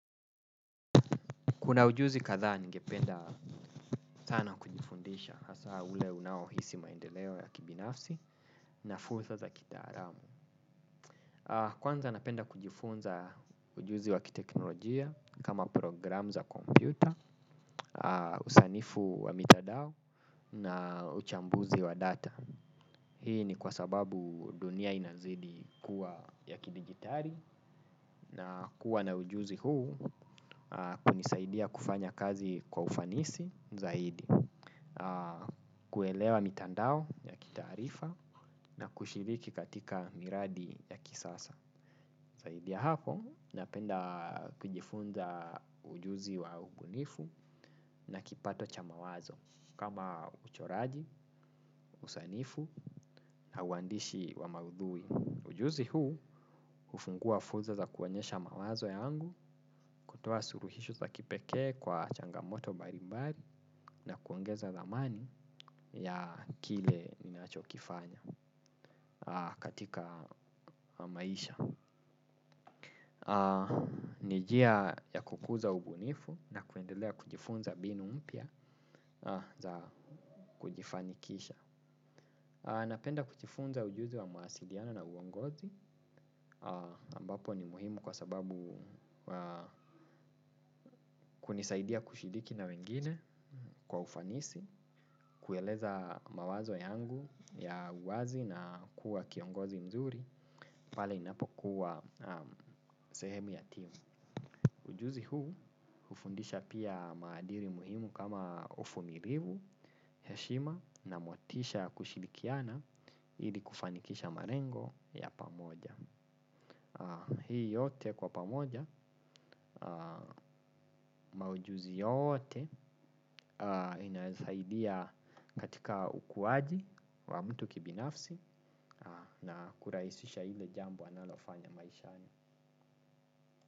Kuna ujuzi kadhaa ningependa sana kujifundisha hasa ule unaohisi maendeleo ya kibinafsi na fursa za kitaalamu. Kwanza napenda kujifunza ujuzi wa kiteknolojia kama programu za kompyuta, usanifu wa mitandao na uchambuzi wa data. Hii ni kwa sababu dunia inazidi kuwa ya kidijitali na kuwa na ujuzi huu kunisaidia kufanya kazi kwa ufanisi zaidi. Kuelewa mitandao ya kitaarifa na kushiriki katika miradi ya kisasa zaidi ya hapo napenda kujifunza ujuzi wa ubunifu na kipato cha mawazo kama uchoraji, usanifu na uandishi wa maudhui ujuzi huu hufungua fursa za kuonyesha mawazo yangu kutoa suluhisho za kipekee kwa changamoto mbalimbali na kuongeza thamani ya kile ninachokifanya katika maisha. Ni njia ya kukuza ubunifu na kuendelea kujifunza mbinu mpya za kujifanikisha. Napenda kujifunza ujuzi wa mawasiliano na uongozi ambapo ni muhimu kwa sababu kunisaidia kushiriki na wengine kwa ufanisi, kueleza mawazo yangu ya uwazi na kuwa kiongozi mzuri pale ninapokuwa sehemu ya timu. Ujuzi huu hufundisha pia maadili muhimu kama uvumilivu, heshima na motisha ya kushirikiana ili kufanikisha malengo ya pamoja hii yote kwa pamoja maujuzi yote inasaidia katika ukuaji wa mtu kibinafsi na kurahisisha ile jambo analofanya maishani.